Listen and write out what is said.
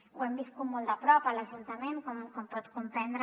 ho hem viscut molt de prop a l’ajuntament com pot comprendre